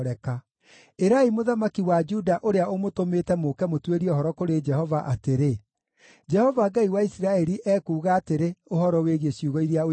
Ĩrai mũthamaki wa Juda ũrĩa ũmũtũmĩte mũũke mũtuĩrie ũhoro kũrĩ Jehova atĩrĩ, ‘Jehova Ngai wa Isiraeli ekuuga atĩrĩ, ũhoro wĩgiĩ ciugo iria ũiguĩte: